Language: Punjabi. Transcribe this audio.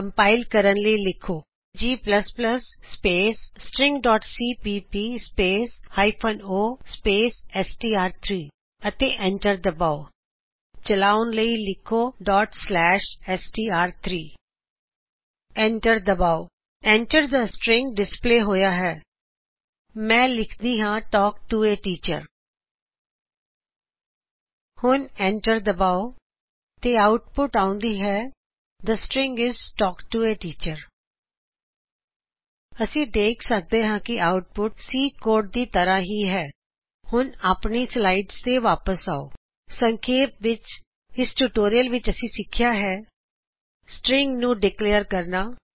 ਕਮਪਾਇਲ ਕਰਨ ਲਈ ਲਿਖੋ g ਸਪੇਸ stringਸੀਪੀਪੀ ਸਪੋਸ o ਸਪੇਸ ਐਸਟੀਆਰ3 ਅਤੇ ਐੰਟਰ ਦਬਾਓ ਚਲਾਉਨ ਲਈ ਲਿਖੋ dot slash S T R three ਐਸਟੀਆਰ3 ਐੰਟਰ ਦਬਾਓ Enter ਥੇ ਸਟ੍ਰਿੰਗ ਡਿਸਪਲੇ ਹੋਇਆ ਹੈ ਮੈ ਲਿਖਦੀ ਹਾ ਤਲਕ ਟੋ A ਟੀਚਰ ਹੁਣ ਐੰਟਰ ਦਬਾਓ ਤੇ ਆਉਟਪੁੱਟ ਆਉਂਦੀ ਹੈ the string is talk to A teacher ਅਸੀਂ ਦੇਖ ਸਕਦੇ ਹਾ ਕਿ ਆਉਟਪੁੱਟ ਸੀ ਕੋਡ ਦੀ ਤਰ੍ਹਾ ਹੀ ਹੈ ਹੁਣ ਆਪਣੀਆ ਸਲਾਇਡਜ਼ ਤੇ ਵਾਪਿਸ ਆਓ ਸਂਖੇਪ ਵਿੱਚ ਇਸ ਟੁਟੋਰਿਯਲ ਵਿੱਚ ਅਸੀਂ ਸਿਖਿਆ ਹੈ ਸ੍ਟ੍ਰਿੰਗਜ਼ ਸ੍ਟ੍ਰਿੰਗ ਨੂੰ ਡਿਕਲੇਅਰ ਕਰਨਾ